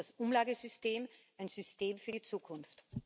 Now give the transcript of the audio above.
Also ist das Umlagesystem ein System für die Zukunft.